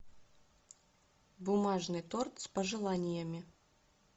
бумажный торт с пожеланиями